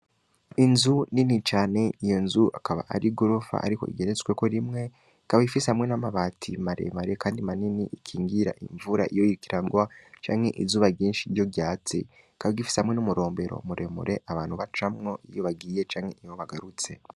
Inzu nini cane iyo nzu akaba ari gurufa, ariko igeretsweko rimwe kabaifise hamwe n'amabati maremare, kandi manini ikingira imvura iyo yikirangwa canke izuba ryinshi ryo ryatsi kabagifise hamwe n'umurombero muremure abantu bacamwo iyo bagiye canke iho bagarutse.